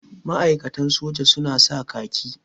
Ma'aikatan soja su na sa kaki.